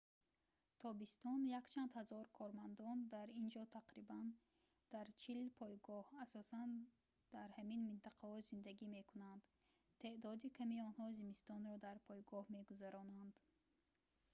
тобистон якчанд ҳазор кормандон дар ин ҷо тақрибан дар чил пойгоҳ асосан дар ҳамин минтақаҳо зиндагӣ мекунанд теъдоди ками онҳо зимистонро дар пойгоҳ мегузаронанд